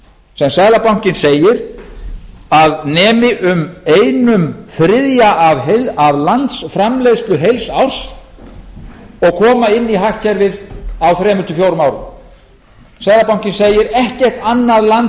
sem seðlabankinn segir að nemi um einum þriðja af landsframleiðslu heils árs og koma inn í hagkerfinu á þriggja til fjórum árum seðlabankinn segir ekkert annað land